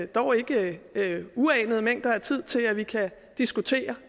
dog ikke uanede mænger af tid til at vi kan diskutere